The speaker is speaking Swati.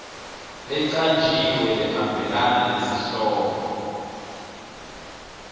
lecanjiwe lehambelana nesihloko